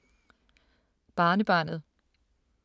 Barnebarnet